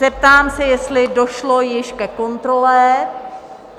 Zeptám se, jestli došlo již ke kontrole?